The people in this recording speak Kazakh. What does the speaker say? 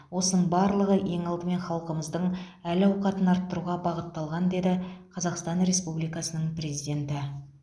осының барлығы ең алдымен халқымыздың әл ауқатын арттыруға бағытталған деді қазақстан республикасының президенті